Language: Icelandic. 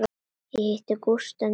Ég hitti Gústa um daginn.